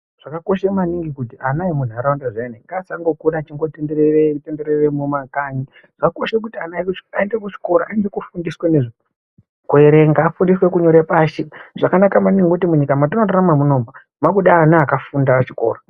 Zvakakosha maningi kuti ana emunharaunda zviyani ngaasangokura achingotenderera tendera mumakhanyi tivakurudzire kuti aende kuchikora anofundiswe nezvekuverenga ufundiswe nezvekunyore pashi. Zvakanaka maningi nekuti munyika mwatorarama munomu mwakuda ana akafunda echikora.